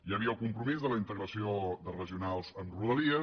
hi havia el compromís de la integració de regionals amb rodalies